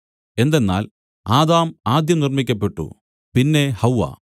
എന്തെന്നാൽ ആദാം ആദ്യം നിർമ്മിക്കപ്പെട്ടു പിന്നെ ഹവ്വാ